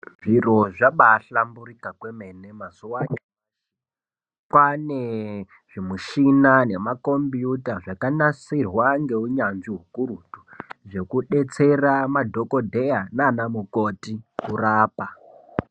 Zviro zvabaahlamburika kwemene mazuva anyamashi. Kwaane zvimishina nemakombiyuta zvakanasirwa ngeunyanzvi hukurutu zvekudetsera madhogodheya naana mukoti kurapa.